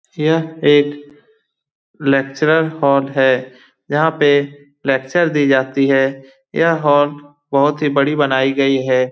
यह एक lecture hall है यहाँ पे लेक्चर दी जाती है ये हॉल बहुत ही बड़ी बनाई गई है।